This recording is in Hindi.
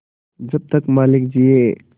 जब तक मालिक जिये